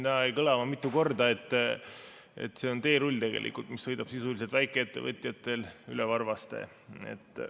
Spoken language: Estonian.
Täna jäi mitu korda kõlama, et see on teerull, mis sõidab sisuliselt väikeettevõtjatel üle varvaste.